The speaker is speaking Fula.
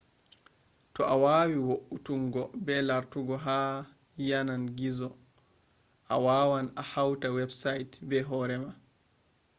to a wawi vo'utungo be lartugo ha yanan gizo a wawan a hauta website be hoore ma